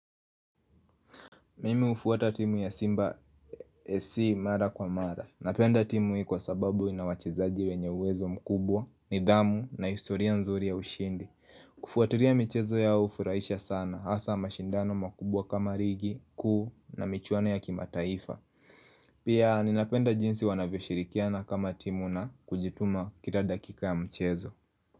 Mimi hufuata timu ya simba esi mara kwa mara Napenda timu hii kwa sababu ina wachezaji wenye uwezo mkubwa, nidhamu na historia nzuri ya ushindi Kufuatiria michezo yao hufurahisha sana hasa mashindano makubwa kama rigi kuu na michwano ya kimataifa Pia ninapenda jinsi wanavyoshirikiana kama timu na kujituma kila dakika ya mchezo.